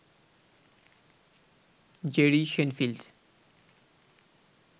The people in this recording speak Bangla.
Jerry Shenfield